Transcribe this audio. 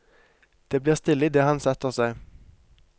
Det blir stille i det han setter seg.